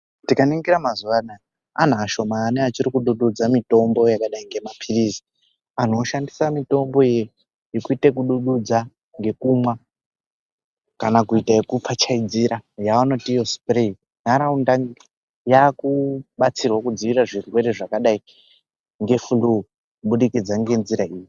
Tikaningira mazuva anaya, antu ashomani achikudududza mitombo yakadai ngemaphiritsi. Antu oshandise mitombo iyi yekuite kudududza ngekumwa kana kuita ekupfachaidzira yaanoti iyo supureyi. Ntaraunda yakubatsirwa kudziirira zvirwere zvakadai ngefururu, kubudikidza ngenzira iyi.